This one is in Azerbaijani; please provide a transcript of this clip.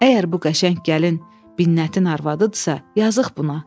Əgər bu qəşəng gəlin Minnətin arvadıdısa, yazıq buna.